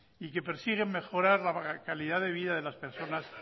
y que persiguen mejorar la calidad de vida de las personas